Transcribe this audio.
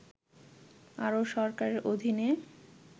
আরও সরকারের অধীনে